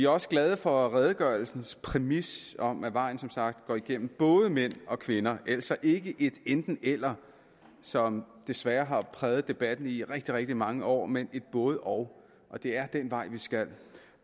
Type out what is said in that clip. også glade for redegørelsens præmis om at vejen som sagt går igennem både mænd og kvinder altså ikke et enten eller som desværre har præget debatten i rigtig rigtig mange år men et både og og det er den vej vi skal